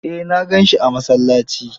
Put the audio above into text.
Eh na gansi a masallaci.